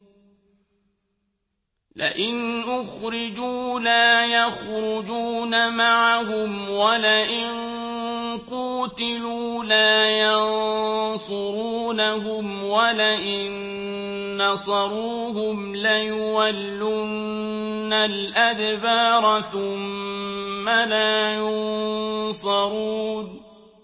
لَئِنْ أُخْرِجُوا لَا يَخْرُجُونَ مَعَهُمْ وَلَئِن قُوتِلُوا لَا يَنصُرُونَهُمْ وَلَئِن نَّصَرُوهُمْ لَيُوَلُّنَّ الْأَدْبَارَ ثُمَّ لَا يُنصَرُونَ